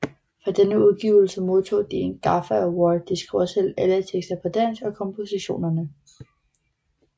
For denne udgivelse modtog de en gaffa award De skriver selv alle tekster på dansk og kompositionerne